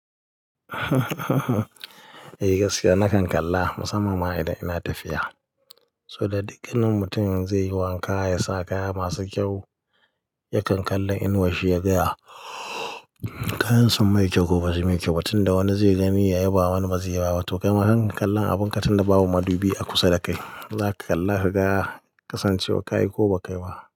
Eh gaskiya nakan kalla musamman ma idan ina tafiya. Saboda duk wani mutum zai yi wanka ya sa kaya masu kyau, yakan kalla inuwar shi ya gaya kayan sun mai kyau ko ba su mai kyau ba tun da wani zai gani ya yaba wani ba zai. Ya ba ba. Tokaima hakan kallon abun katun da babu madubi a kusa da kai. Zaka kalla ka ga kasancewa ka yi ko ba kai ba.